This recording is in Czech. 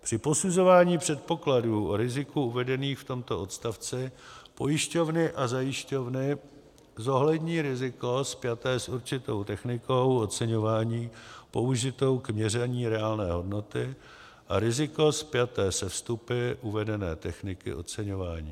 Při posuzování předpokladů o riziku uvedených v tomto odstavci pojišťovny a zajišťovny zohlední riziko spjaté s určitou technikou oceňování použitou k měření reálné hodnoty a riziko spjaté se vstupy uvedené techniky oceňování.